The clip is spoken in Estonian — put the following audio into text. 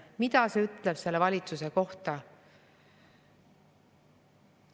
Mida see ütleb selle valitsuse kohta?